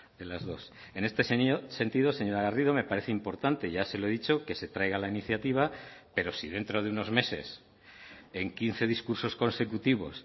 de las dos en este sentido señora garrido me parece importante ya se lo he dicho que se traiga la iniciativa pero si dentro de unos meses en quince discursos consecutivos